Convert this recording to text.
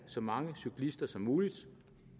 så mange cyklister som muligt